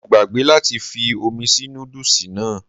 Mo gbàgbé láti fi omi sí nódùsì náà